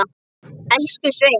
Elsku Sveina.